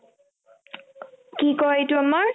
কি কই এইটো আমাৰ